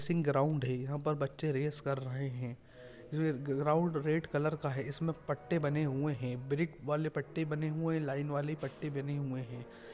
Racing ground है यहाँ पर बच्चें रेस कर रहे हैं य गा गा ग्राउंड रेड कलर का हैंइसमें पट्टे बने हुए हैं ब्रिक वाले पट्टे बने हुए हैं लाइन वाले पट्टे बने हुए हैं।